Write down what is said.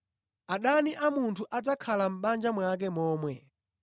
adani a munthu adzakhala a mʼbanja mwake momwe.’